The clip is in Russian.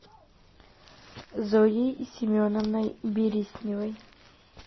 зоей семеновной бересневой